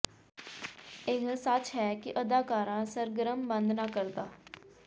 ਇਹ ਸੱਚ ਹੈ ਕਿ ਅਦਾਕਾਰਾ ਸਰਗਰਮ ਬੰਦ ਨਾ ਕਰਦਾ